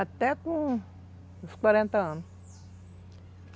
Até com... Uns quarenta anos.